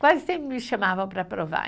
Quase sempre me chamavam para provar.